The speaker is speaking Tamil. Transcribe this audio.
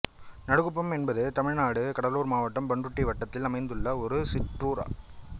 நடுகுப்பம் என்பது தமிழ்நாடு கடலூர் மாவட்டம் பண்ருட்டி வட்டத்தில் அமைந்துள்ள ஒரு சிற்றூர்